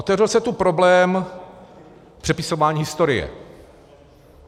Otevřel se tu problém přepisování historie.